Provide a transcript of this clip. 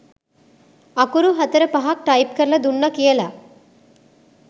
අකුරු හතර පහක් ටයිප් කරලා දුන්න කියලා